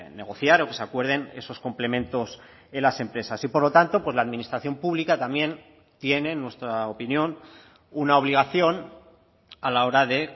negociar o que se acuerden esos complementos en las empresas y por lo tanto pues la administración pública también tiene en nuestra opinión una obligación a la hora de